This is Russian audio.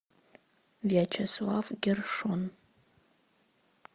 вячеслав гершон